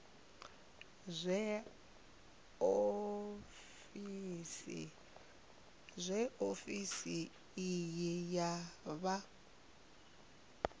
zwe ofisi iyi ya vha